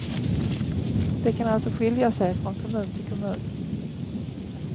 Det kan alltså skilja sig från kommun till kommun.